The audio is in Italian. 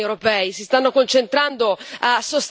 Ecco, cosa stanno facendo i governi europei?